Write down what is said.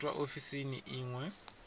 itwa ofisini i ṅ we